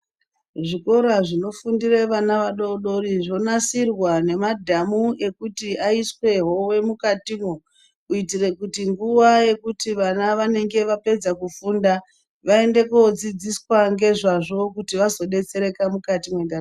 Zvikora zvino fundire vana vadodori zvo nasirwa nema dhamu ekuti aiswe hove mukatimo kuitire kuti nguva yekuti vana vanenge vapedza kufunda vaende ko dzidziswa ngezvazvo kuti vako betsereka mukati me ndaramo.